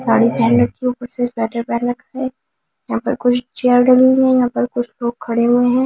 साड़ी पहनने के ऊपर से स्वेटर पहन रखा है यहां पर कुछ चेयर डली हुई है यहां पर कुछ लोग खड़े हुए हैं।